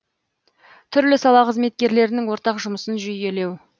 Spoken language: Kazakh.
түрлі сала қызметкерлерінің ортақ жұмысын жүйелеу